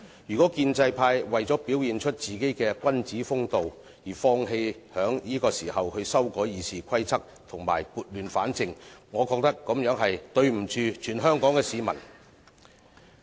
如果建制派為了表現君子風度，而放棄在此時修改《議事規則》和撥亂反正，我覺得這樣是對不起全香港市民。